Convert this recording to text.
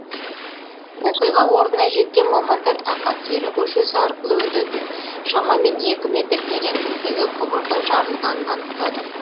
оқиға орнына жеткен мамандар ақан сері көшесі арқылы өтетін шамамен екі метр тереңдіктегі құбырдың жарылғанын анықтады